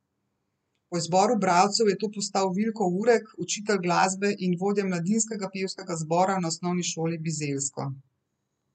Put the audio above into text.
Po izboru bralcev je to postal Vilko Urek, učitelj glasbe in vodja mladinskega pevskega zbora na osnovni šoli Bizeljsko.